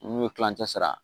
N'u ye kilancɛ sara